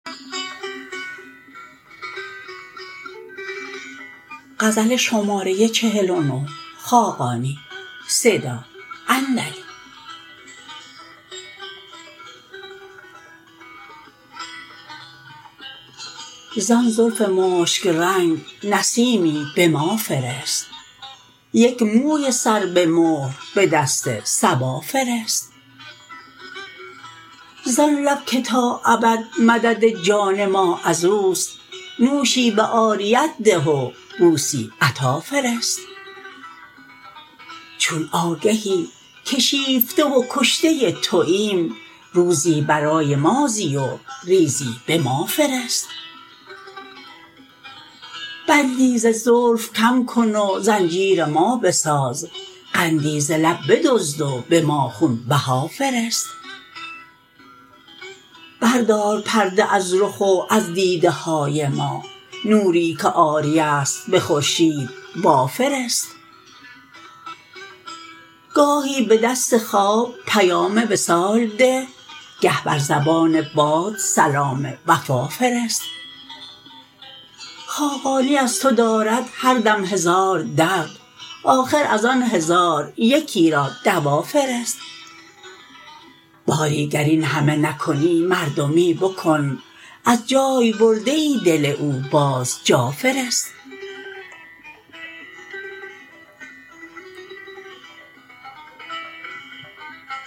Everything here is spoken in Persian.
زان زلف مشک رنگ نسیمی به ما فرست یک موی سر به مهر به دست صبا فرست زان لب که تا ابد مدد جان ما ازوست نوشی به عاریت ده و بوسی عطا فرست چون آگهی که شیفته و کشته توایم روزی برای ما زی و ریزی به ما فرست بندی ز زلف کم کن و زنجیر ما بساز قندی ز لب بدزد و به ما خون بها فرست بردار پرده از رخ و از دیده های ما نوری که عاریه است به خورشید وافرست گاهی به دست خواب پیام وصال ده گه بر زبان باد سلام وفا فرست خاقانی از تو دارد هر دم هزار درد آخر از آن هزار یکی را دوا فرست باری گر این همه نکنی مردمی بکن از جای برده ای دل او باز جا فرست